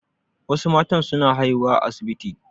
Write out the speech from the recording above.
Wasu matan su na haihuwa a asibiti